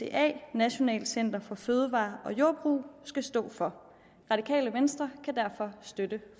dca nationalt center for fødevarer og jordbrug skal stå for radikale venstre kan derfor støtte